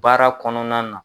Baara kɔnɔna na.